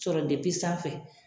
Sɔrɔ sanfɛ.